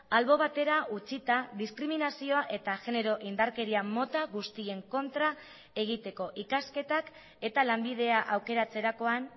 albo batera utzita diskriminazioa eta genero indarkeria mota guztien kontra egiteko ikasketak eta lanbidea aukeratzerakoan